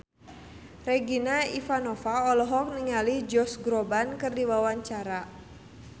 Regina Ivanova olohok ningali Josh Groban keur diwawancara